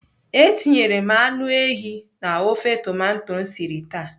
Etinyere m anụ ehi na ofe tomato m siri taa.